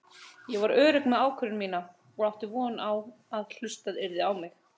Ég var örugg með ákvörðun mína og átti von á að hlustað yrði á mig.